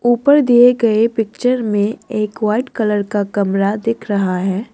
ऊपर दिए गए पिक्चर में एक वाइट कलर का कमरा दिख रहा है।